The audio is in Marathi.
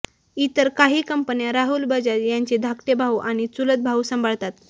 इतर काही कंपन्या राहुल बजाज यांचे धाकटे भाऊ आणि चुलत भाऊ सांभाळतात